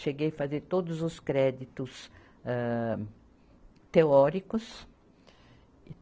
Cheguei fazer todos os créditos, âh teóricos.